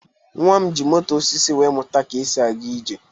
Nnwa m ji moto osisi wee mụta ka esi aga ije.